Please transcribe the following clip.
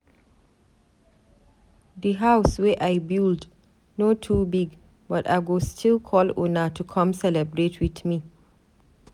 Di house wey I build no too big but I go still call una to come celebrate with me.